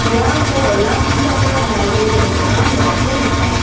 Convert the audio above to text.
iano olakkichakna tarie dongipa nokko nika.